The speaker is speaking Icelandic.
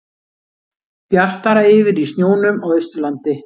Bjartara yfir í snjónum á Austurlandi